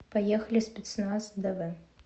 поехали спецназ дв